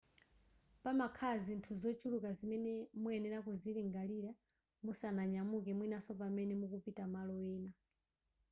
pamakhala zinthu zochuluka zimene muyenera kuzilingalira musananyamuke mwinaso pamene mukupita malo ena